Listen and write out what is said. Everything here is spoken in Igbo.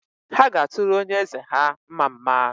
Ha ga-atụrụ onye eze ha mmamma